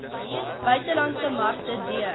buitelandse markte d